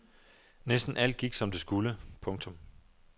Næsten alt gik som det skulle. punktum